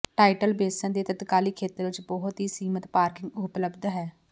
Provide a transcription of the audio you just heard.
title Basin ਦੇ ਤਤਕਾਲੀ ਖੇਤਰ ਵਿੱਚ ਬਹੁਤ ਹੀ ਸੀਮਿਤ ਪਾਰਕਿੰਗ ਉਪਲਬਧ ਹੈ